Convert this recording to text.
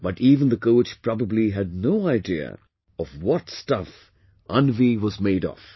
But even the coach probably had no idea of what stuff Anvi was made of